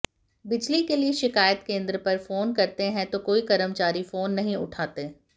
बिजली के लिए शिकायत केंद्र पर फोन करते है तो कोई कर्मचारी फोन नहीं उठाते